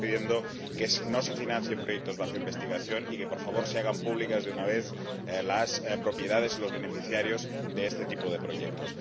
Seguimos pidiendo que no se financien proyectos bajo investigación y que, por favor, se hagan públicas de una vez las propiedades o los beneficiarios de este tipo de proyectos.